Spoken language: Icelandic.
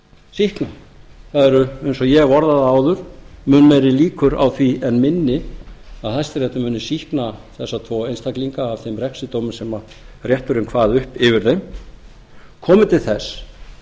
sýkna það er eins og ég hef orðað það áður mun meiri líkur á því en minni að hæstiréttur muni sýkna þessa tvo einstaklinga af þeim refsidómi sem rétturinn kvað upp yfir þeim komi til þess